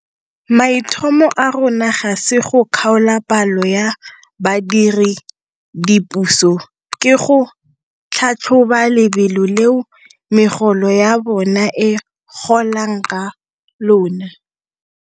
Maitlhomo a rona ga se go kgaola palo ya badiredipuso, ke go tlhatlhoba lebelo leo megolo ya bona e golang ka lona.